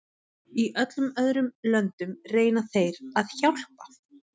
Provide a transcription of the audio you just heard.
Í öllum öðrum löndum reyna þeir að hjálpa.